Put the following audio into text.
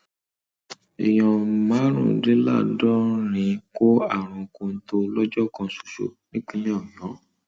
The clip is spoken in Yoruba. èèyàn márùndínláàádọrin kó àrùn kọńtò lọjọ kan ṣoṣo nípínlẹ ọyọ